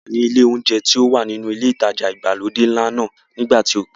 A wà ní ilé olóúnjẹ tí ó wà nínú ilé ìtajà ìgbàlódé ńlá náà nígbà tí o pè.